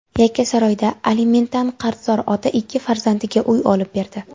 Yakkasaroyda alimentdan qarzdor ota ikki farzandiga uy olib berdi.